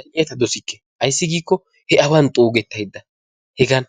Zal'iya ta dosikke ayissi giikko he awan xuugettayidda hegan